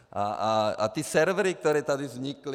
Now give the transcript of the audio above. A ty servery, které tady vznikly.